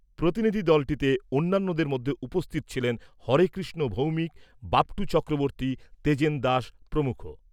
প্রতিনিধি দলটিতে অন্যান্যদের মধ্যে উপস্থিত ছিলেন হরেকৃষ্ণ ভৌমিক, বাপটু চক্রবর্তী, তেজেন দাস প্রমুখ।